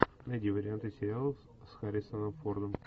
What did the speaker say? найди варианты сериалов с харрисоном фордом